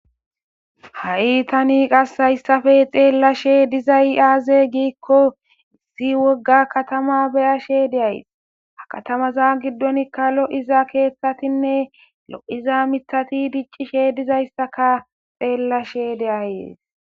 Hay thani qassi haysapee xeellashee dizay aazee giikko issi wogga kathamaa be7ashee de7ays;ha kathamazaa giddonikka lo7iza keeththathinne lo7iza miththathi diccishee dizaysakaa xeellashee de7ays.